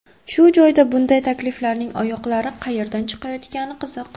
Shu joyda bunday takliflarning oyoqlari qayerdan chiqayotgani qiziq.